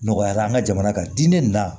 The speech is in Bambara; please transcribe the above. Nɔgɔyara an ka jamana kan di ne nana